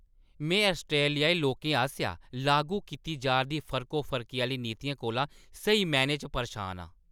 में आस्ट्रेलियाई लोकें आसेआ लागू कीती जा दी फर्कोफर्की आह्‌ली नीतियें कोला स्हेई मैह्‌नें च परेशान आं।